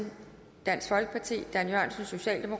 da